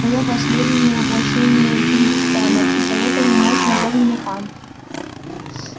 но я последнее воплощение чингис хана и поэтому можешь назвать меня хан